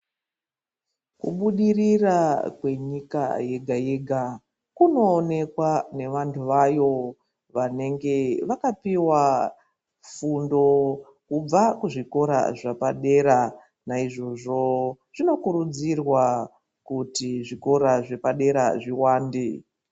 Kubudirira kwenyika yega yega kunoonekwa nevanhu vayo vanenge vakapihwa fundo kubva kuzvikora zvepadera naizvozvo zvinokurudzirwa kuti zvikora zvepadera zviwande.